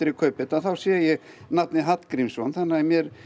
kaupi þetta þá sé ég nafnið Hallgrímsson þannig að